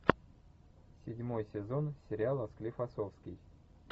седьмой сезон сериала склифосовский